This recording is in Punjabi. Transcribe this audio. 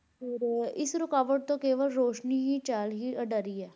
ਫਿਰ ਇਸ ਰੁਕਾਵਟ ਤੋਂ ਕੇਵਲ ਰੋਸ਼ਨੀ ਹੀ ਚਾਲ ਹੀ ਅਡਰੀ ਹੈ।